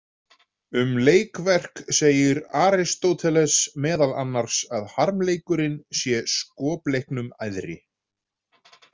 Um leikverk segir Aristóteles meðal annars að harmleikurinn sé skopleiknum æðri.